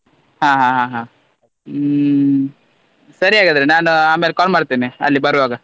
ಹಾ ಹಾ ಹಾ ಹಾ ಹ್ಮ್ ಸರಿ ಹಾಗಾದ್ರೆ ನಾನ್ ಆಮೇಲ್ call ಮಾಡ್ತೇನೆ ಅಲ್ಲಿ ಬರುವಾಗ.